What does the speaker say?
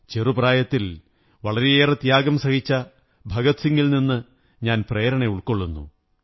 ചെറു പ്രായത്തിൽ വളരെയേറെ ത്യാഗം സഹിച്ച ഭഗത് സിംഗിൽ നിന്നു ഞാൻ പ്രേരണ ഉള്ക്കൊറള്ളുന്നു